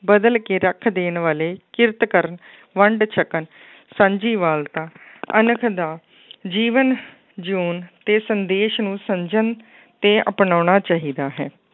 ਬਦਲ ਕੇ ਰੱਖ ਦੇਣ ਵਾਲੇ ਕਿਰਤ ਕਰਨ ਵੰਡ ਛਕਣ ਸਾਂਝੀ ਵਾਲਤਾ ਅਣਖ ਦਾ ਜੀਵਨ ਜਿਊਣ ਤੇ ਸੰਦੇਸ਼ ਨੂੰ ਸਮਝਣ ਤੇ ਅਪਨਾਉਣਾ ਚਾਹੀਦਾ ਹੈ।